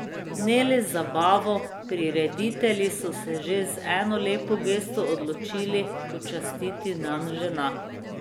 Ne le z zabavo, prireditelji so se še z eno lepo gesto odločili počastiti dan žena.